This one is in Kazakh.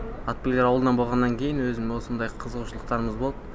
атбегілер ауылынан боғаннан кейін өзім осындай қызығушылықтарымыз болды